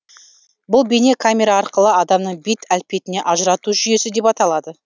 бұл бейне камера арқылы адамның бет әлпетіне ажырату жүйесі деп аталады